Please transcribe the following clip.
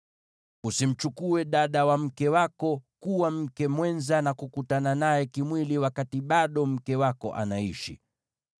“ ‘Usimchukue dada wa mke wako kuwa mke mwenza, na kukutana naye kimwili wakati bado mke wako anaishi.